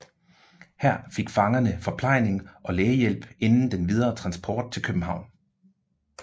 Her fik fangerne forplejning og lægehjælp inden den videre transport til København